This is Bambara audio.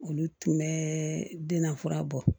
Olu tun bɛ den na fura bɔ